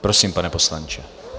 Prosím, pane poslanče.